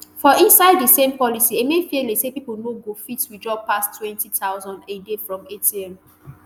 for inside di same policy emefiele say pipo no go fit withdraw pass ntwenty thousand naira a day from atm